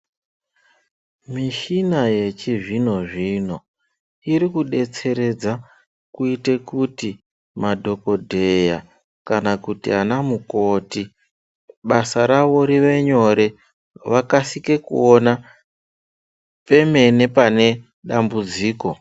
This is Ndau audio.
Mishina yechizvino-zvino ,iri kudetseredza ,kuite kuti madhokodheya, kana kuti ana mukoti kuti basa ravo rive nyore, vakasike kuona, pemene pane dambudziko.